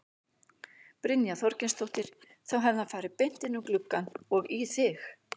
Brynja Þorgeirsdóttir: Þá hefði hann farið beint inn um gluggann og í þig?